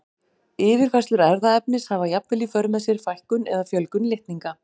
Yfirfærslur erfðaefnis hafa jafnvel í för með sér fækkun eða fjölgun litninga.